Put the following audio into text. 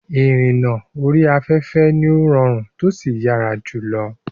Ìrìnnà orí afẹ́fẹ́ ni ó rọrùn tósì yára jùlọ.